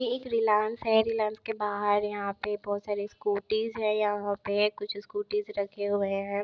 यह एक है के बाहर यहाँ पे बहुत सारे स्कूटीस हैं यहाँ पे कुछ स्कूटीस रखे हुए हैं।